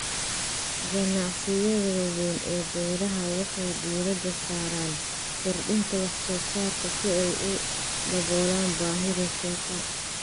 Ganacsiyada waaweyn ee beeraha waxay diiradda saaraan kordhinta wax soo saarka si ay u daboolaan baahida suuqa.